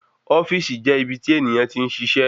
Ofíìsì jẹ́ ibi tí ènìyàn tí ń ṣiṣẹ́